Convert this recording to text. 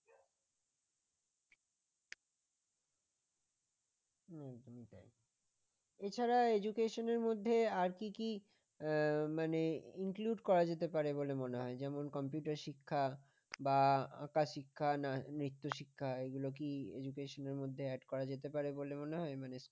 এছাড়া education মধ্যে আর কি কি মানে include করা যেতে পারে বলে মনে হয় যেমন computer শিক্ষা বা আঁকা শিক্ষা নিত্য শিক্ষা এগুলো কি education মধ্যে add করা যেতে পারে বলে মনে হয় মানে